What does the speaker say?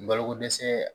Balokodɛsɛ